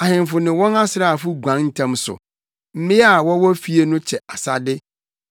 “Ahemfo ne wɔn asraafo guan ntɛm so; mmea a wɔwɔ fie no kyɛ asade.